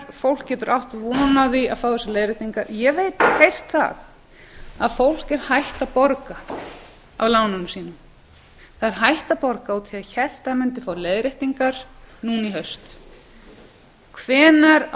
fólk getur átt von á því að fá þessar leiðréttingar ég hef heyrt að fólk er hætt að borga af lánunum sínum af því að það hélt að það fengi leiðréttingar núna í haust hvenær á